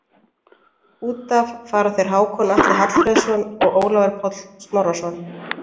Út af fara þeir Hákon Atli Hallfreðsson og Ólafur Páll Snorrason.